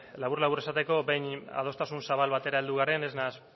labur labur esateko behin adostasun zabal batera heldu garen ez naiz